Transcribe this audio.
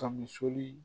Kami sɔli